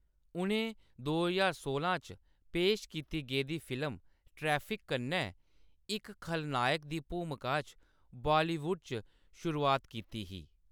उʼनें दो ज्हार सोलां च पेश कीती गेदी फिल्म 'ट्रैफिक' कन्नै, इक खलनायक दी भूमका च बॉलीवुड च शुरुआत कीती ही।